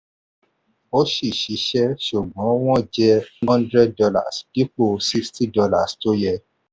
ó ṣi ṣiṣẹ́ ṣùgbọ́n wọ́n jẹ ẹ hundred dollars dípò sixty dollars tó yẹ.